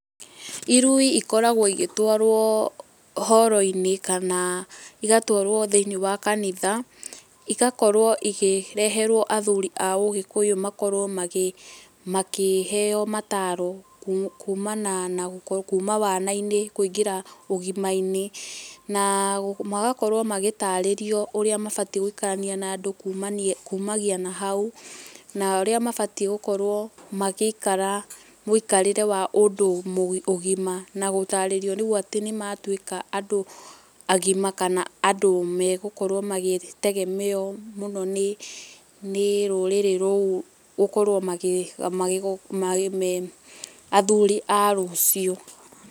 Irui ikoragwo igĩtwarwo horo-inĩ kana igatwarwo thĩ-inĩ wa kanitha, igakorwo ikĩreherwo athuri a ũgĩkũyũ makorwo magi, makĩheo mataro kumana na gũkorwo kuma wana-inĩ gũthiĩ ũgima-inĩ na magakorwo magĩtarĩrio ũrĩa mabatiĩ gũikarania na andũ kumagia na hau na ũrĩa mabatiĩ gũkorwo magĩikara mũikarĩre wa ũndũ ũgima na gũtarĩrio rĩu nĩ matuĩka andũ agima kana andũ megũkorwo magĩtegemerwo mũno nĩ rũrĩrĩ rũu gũkorwo magĩ me athuri a rũcio.